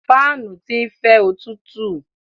Fáànù ti ń fẹ́ òtútú.